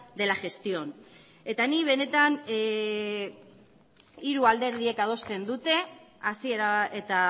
de la gestión eta ni benetan hiru alderdiek adosten dute hasiera eta